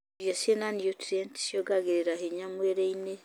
Irio cina niutrienti ciongagĩrĩra hinya mwĩrrĩ-inĩ.